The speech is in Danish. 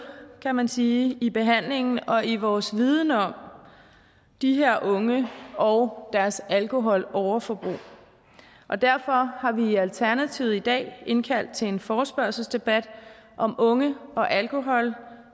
kan man sige i behandlingen og i vores viden om de her unge og deres alkoholoverforbrug derfor har vi i alternativet i dag indkaldt til en forespørgselsdebat om unge og alkohol